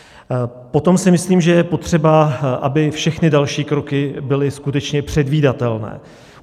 Potom si myslím, že je potřeba, aby všechny další kroky byly skutečně předvídatelné.